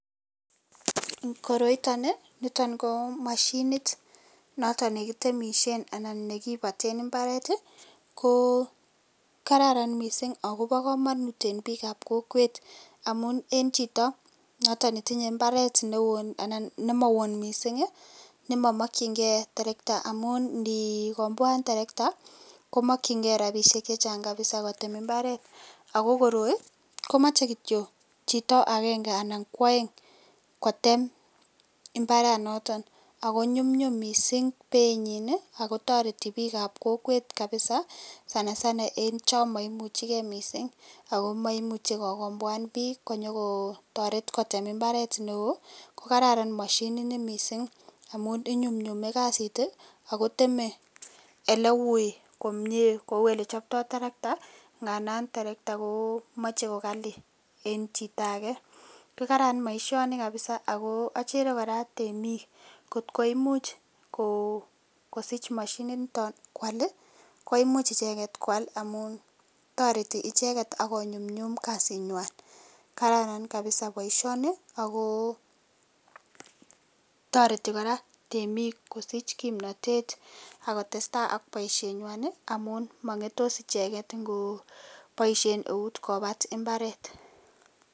Koroiton ko mashinit noton nekitemishen anan nekibaten imbaret ko kararan mising ako bo kanut en bik ab kokwet amun en Chito noton nemotindo imbaret neon anan nemaon mising nemamokyinge terekta amun inikomboan terekta komokyige rabishek chechang kabisa kotem imbaret ako koroi komoche kityo Chito agenge anan ko aeng kotem imbaraniton ako nyumnyum mising Bei nyin akotareti bik ab kokwet kabisa sanasana en chamaimuchegei mising akomaimuche kokomboan bik konyokotaret kotem imbaret neon kokararan mashinit Ni mising amun inyunmnyumi kasit akoteme eleon nei AK eleui Kou elechopto terekta tandan terekta kimache kokali en Chito age kokararan baishoni kabisaako achere kora temig kotkoimuch kosich machinit niton kwal koimuchi icheket kwal amun tareti icheket konyumnyumun kasit nywan kararan kabisa baishoni ako tareti koraa temig kosich kimnatet akotestai AK baishet nywan amun mangeyos icheken ngamun baishen out ngopat imbaret